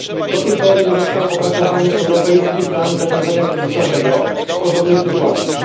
Do tej pory nie został opracowany europejski plan zarządzania kryzysowego w podobnych sytuacjach.